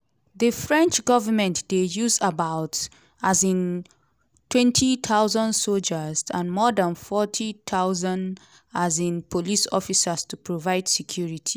di french government dey use about um twenty thousand sojas and more dan forty thousand um police officers to provide security.